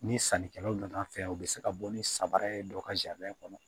Ni sannikɛlaw nana an fɛ yen u be se ka bɔ ni samara ye dɔw ka kɔnɔ